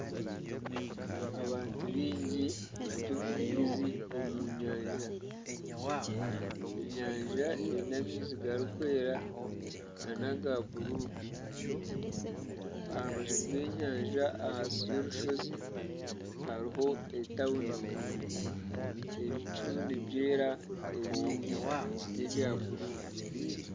Abantu baingi bari omu maizi omu nyanja, enyanja eine amaizi garikwera n'aga bururu. Aha rubaju rw'enyanja ahansi y'orushozi hariho etawuni. Ebicu nibyera ebindi n'ebya bururu.